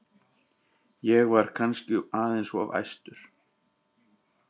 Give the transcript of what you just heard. Ég var kannski aðeins of æstur.